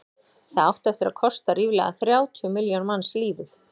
það átti eftir að kosta ríflega þrjátíu milljón manns lífið